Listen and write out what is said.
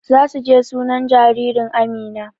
Zasu je suna jaririn Amina